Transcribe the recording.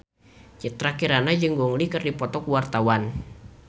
Citra Kirana jeung Gong Li keur dipoto ku wartawan